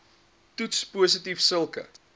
toets positief sulke